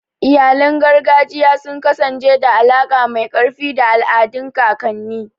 Iyalan gargajiya sun kasance da alaƙa mai ƙarfi da al'adun kakanni.